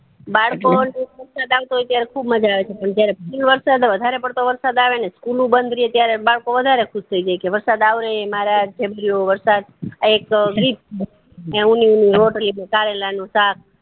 બાળપણ વરસાદ આવતો હોય ત્યારે ખુબ મજા આવે છે જયારે વરસાદ વધારે પડતો વરસાદ આવે ને સ્કૂલો બધ રેય ત્યારે બાળકો વધારે ખુશ થય જાય કે વરસાદ આવે ને આ એક ગીત કે ઉની ઉની રોટલી ને કરેલા નું શક